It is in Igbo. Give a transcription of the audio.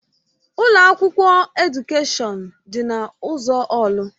Ụlọ akwụkwọ Edukèshọn dị na ụzọ orlu.